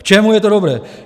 K čemu je to dobré?